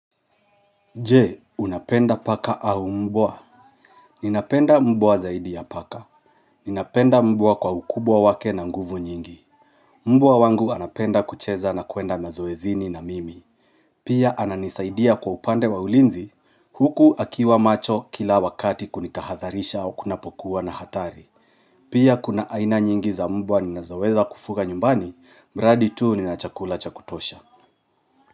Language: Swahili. Je, unapenda paka au mbwa? Ninapenda mbwa zaidi ya paka. Ninapenda mbwa kwa ukubwa wake na nguvu nyingi. Mbwa wangu anapenda kucheza na kuenda mazoezini na mimi. Pia ananisaidia kwa upande wa ulinzi. Huku akiwa macho kila wakati kunitahatharisha au kunapokuwa na hatari. Pia kuna aina nyingi za mbwa ninazoweza kufuga nyumbani, bradi tuu ni nachakula chakutosha.